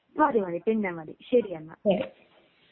മതി മതി പിന്നെ മതി ശരിയെന്നാൽ